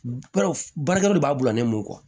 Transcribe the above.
Baarakɛlaw de b'a bila ne mun kɔ